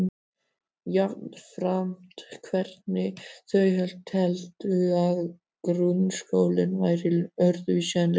Jafnframt hvernig þau teldu að grunnskólinn væri öðruvísi en leikskólinn.